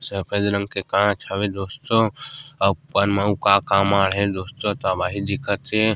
सफ़ेद रंग के कांच हवे दोस्तों अउ मउ का का का मा हे दोस्तो तबाही दिखत हे।